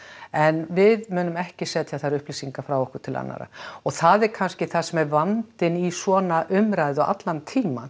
en við munum ekki setja þær upplýsingar frá okkur til annarra og það er kannski það sem er vandinn í svona umræðu allan tímann